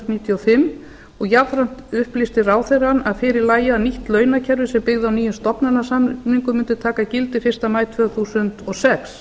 og fimm og jafnframt upplýsti ráðherrann að fyrir lægi að nýtt launakerfi sem byggði á nýjum stofnanasamningum mundi taka gildi fyrsta maí tvö þúsund og sex